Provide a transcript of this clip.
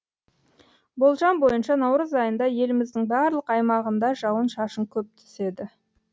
болжам бойынша наурыз айында еліміздің барлық аймағында жауын шашын көп түседі